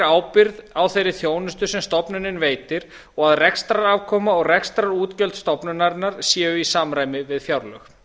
ábyrgð á þeirri þjónustu sem stofnunin veitir og að rekstrarafkoma og rekstrarútgjöld stofnunarinnar séu í samræmi við fjárlög